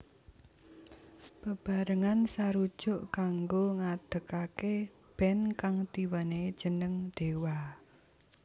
Bebarengan sarujuk kanggo ngadegaké band kang diwenehi jeneng Dewa